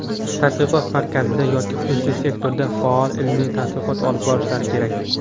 tadqiqot markazida yoki xususiy sektorda faol ilmiy tadqiqot olib borishlari kerak.